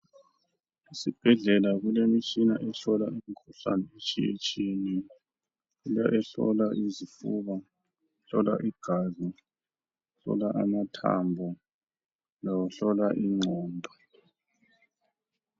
Esibhedlela kulemitshina ehlola imikhuhlane etshiyetshiyeneyo. Kule ehlola izifuba, ehlola igazi, ehlola amathambo lohlola inqondo.